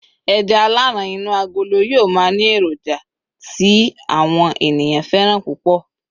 eja alaran inu agolo yíò ma ni eroja ti àwọn ènìyàn fẹràn púpò